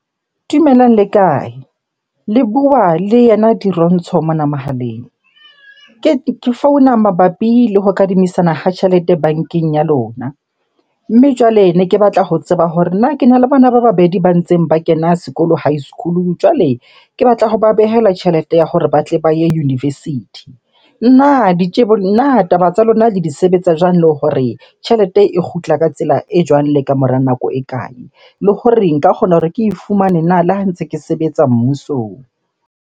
Dumelang, le kae? Le bua le yena Dirontsho mona mohaleng. Ke founa mabapi le ho kadimisana ha tjhelete bankeng ya lona. Mme jwale ne ke batla ho tseba hore na kena le bona ba babedi ba ntseng ba kena sekolo high school-u. Jwale ke batla hoba behela tjhelete ya hore ba tle ba ye university. Na na taba tsa lona le di sebetsa jwang? Le hore tjhelete e kgutla ka tsela e jwang le kamora nako e kae? Le hore nka kgona hore ke e fumane na le ha ntse ke sebetsa mmusong?